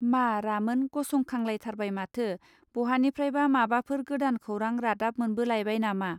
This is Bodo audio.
मा रामोन गसंखांलाइथारबाय माथो बहानिफ्रायबा माबाफोर गोदान खौरां रादाब मोनबो लाइबाय नामा.